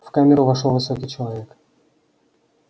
в камеру вошёл высокий человек